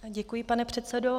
Děkuji, pane předsedo.